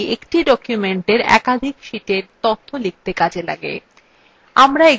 এগুলি একটি document একাধিক শীটে তথ্য লিখতে কাজে লাগে